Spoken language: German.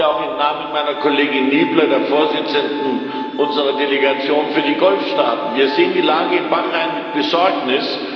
Ich spreche hier auch im Namen meiner Kollegin Niebler, der Vorsitzenden unserer Delegation für die Golfstaaten. Wir sehen die Lage in Bahrain mit Besorgnis.